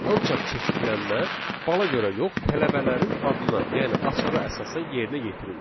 Ancaq çeşidlənmə bala görə yox, tələbələrin adına, yəni açara əsasən yerinə yetirildi.